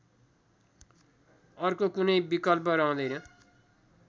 अर्को कुनै विकल्प रहँदैन